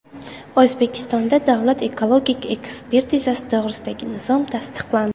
O‘zbekistonda Davlat ekologik ekspertizasi to‘g‘risidagi nizom tasdiqlandi.